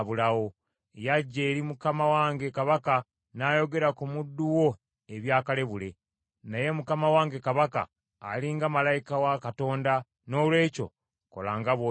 Yajja eri mukama wange kabaka n’ayogera ku muddu wo ebya kalebule. Naye mukama wange kabaka ali nga malayika wa Katonda, noolwekyo kola nga bw’osiima.